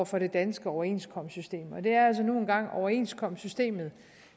for det danske overenskomstsystem og det er altså nu engang overenskomstsystemet